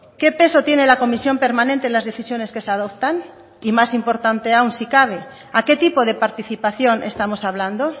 qué peso tiene la comisión permanente las decisiones que se adoptan y más importante aún si cabe a qué tipo de participación estamos hablando